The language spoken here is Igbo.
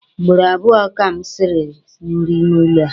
Ugboro abụọ ka m siri nri n'ụlọ a.